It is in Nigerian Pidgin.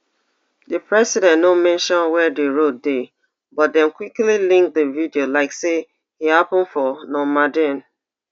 di president no mention wia di road dey but dem quickly link di video like say e happen for normandein